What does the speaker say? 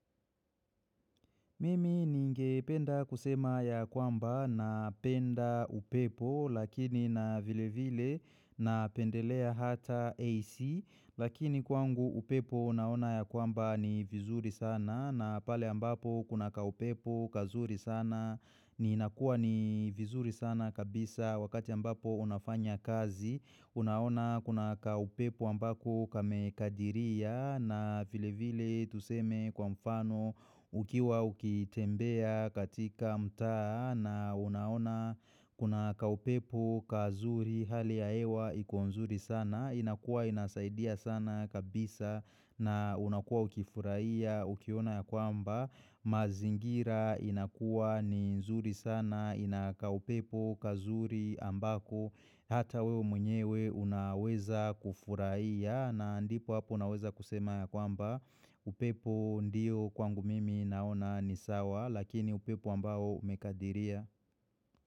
Mimi ninge penda kusema ya kwamba na penda upepo lakini na vile vile na pendelea hata AC lakini kwangu upepo naona ya kwamba ni vizuri sana na pale ambapo kuna kaupepo kazuri sana ni nakuwa ni vizuri sana kabisa wakati ambapo unafanya kazi Unaona kuna kaupepo ambako kamekadiria na vilevile tuseme kwa mfano ukiwa ukitembea katika mtaa na unaona kuna kaupepo kazuri hali ya hewa iko nzuri sana. Inakuwa inasaidia sana kabisa na unakuwa ukifurahia ukiona ya kwamba mazingira inakua ni nzuri sana ina kaupepo kazuri ambako hata wewe mwenyewe unaweza kufurahia na ndipo hapo naweza kusema ya kwamba upepo ndio kwangu mimi naona ni sawa lakini upepo ambao umekadiria.